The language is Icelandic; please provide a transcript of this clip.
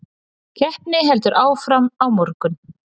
Keppni heldur áfram á morgun